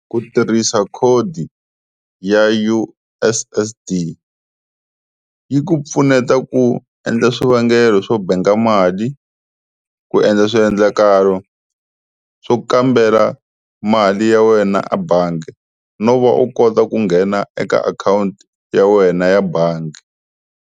Ku tirhisa khodi ya U_S_S_D yi ku pfuneta ku endla swivangelo swo bank mali, ku endla swiendlakalo swo kambela mali ya wena a bangi, no va u kota ku nghena eka akhawunti ya wena ya bangi.